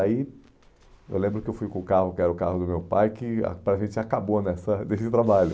aí eu lembro que eu fui com o carro, que era o carro do meu pai, que ah a gente acabou nessa nesse trabalho.